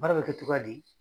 Baara bɛ kɛ cogoya di?